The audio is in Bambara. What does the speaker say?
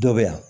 Dɔ bɛ yan